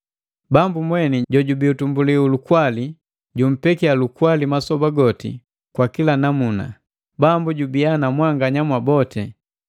Bambu mweni jojubi utumbuli hu lukwali, jumpekia lukwali masoba goti kwa kila namuna. Bambu jubia na mwanganya mwaboti.